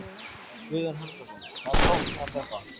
Guðjón Helgason: Hvað táknar þetta?